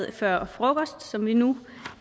før frokost som vi nu